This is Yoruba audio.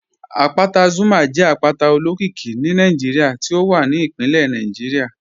Àpátà Zuma jẹ àpátà òlókìíkí ní Nàìjíríà tí ó wà ní ìpínlẹ̀ Nàìjíríà